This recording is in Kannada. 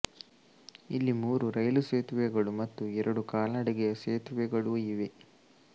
ಇಲ್ಲಿ ಮೂರು ರೈಲು ಸೇತುವೆಗಳು ಮತ್ತು ಎರಡು ಕಾಲ್ನಡಿಗೆಯ ಸೇತುವೆಗಳೂ ಇವೆ